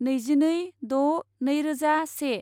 नैजिनै द' नैरोजा से